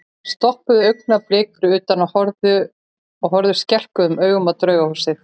Þeir stoppuðu augnablik fyrir utan og horfðu skelkuðum augum á Draugahúsið.